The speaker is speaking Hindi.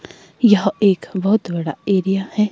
यह एक बहुत बड़ा एरिया है।